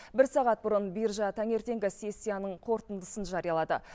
бір сағат бұрын биржа таңертеңгі сессияның қорытындысын жариялады